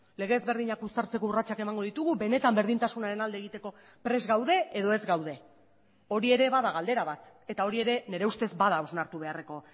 lege ezberdinak uztartzeko urratsak emango ditugu benetan berdintasunaren alde egiteko prest gaude edo ez gaude hori ere bada galdera bat eta hori ere nire ustez bada hausnartu beharreko